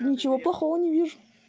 ничего плохого не вижу